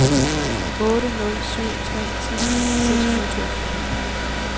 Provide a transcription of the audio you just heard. otte nul syv tre ti seks hundrede og toogfyrre